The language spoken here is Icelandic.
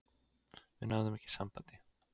Við náðum ekki sambandi.